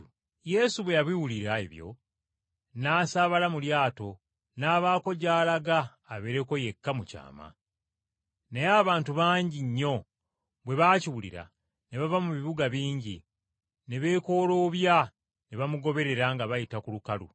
Yesu bwe yabiwulira ebyo, n’asaabala mu lyato, n’abaako gy’alaga abeere yekka mu kyama. Naye abantu bangi nnyo bwe baakiwulira ne bava mu bibuga bingi, ne beekooloobya, ne bamugoberera nga bayita ku lukalu.